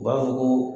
U b'a fɔ ko